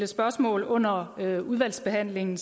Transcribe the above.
spørgsmål under behandlingen